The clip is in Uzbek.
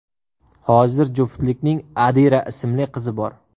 Hozir juftlikning Adira ismli qizi bor.